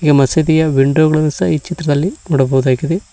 ಮಸೀದಿಯ ವಿಂಡೋ ಗಳನ್ನ ಸಹ ಈ ಚಿತ್ರದಲ್ಲಿ ನೋಡಬಹುದಾಗಿದೆ.